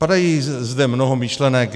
Padá zde mnoho myšlenek.